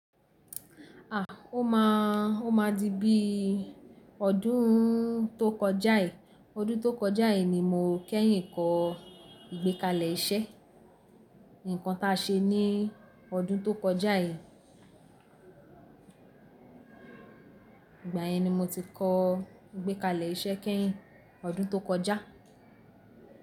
À, ó máà, ó má di bí ọdún tó kọjá yi, ọdún tó kọjá yi ni mo kẹ́yìn kọ́ ìgbékalẹ̀ iṣẹ́. Ǹkan ta ṣe ní ọdún tó kọjá yi. Ìgbà yẹn ni mo ti kọ ìgbékalẹ̀ iṣẹ́ kẹ́yìn, ọdún tó kọjá.